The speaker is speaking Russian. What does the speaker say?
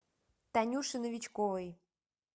танюше новичковой